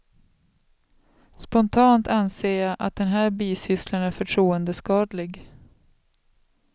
Spontant anser jag att den här bisysslan är förtroendeskadlig.